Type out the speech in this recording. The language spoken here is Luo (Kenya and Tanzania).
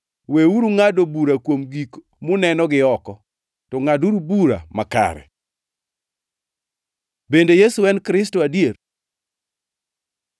Weuru ngʼado bura kuom gik muneno gioko, to ngʼaduru bura makare.” Bende Yesu en Kristo adier?